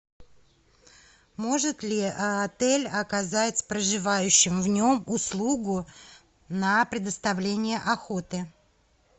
может ли отель оказать проживающим в нем услугу на предоставление охоты